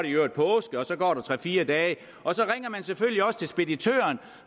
i øvrigt påske og så går der tre fire dage og så ringer man selvfølgelig også til speditøren